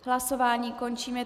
Hlasování končím.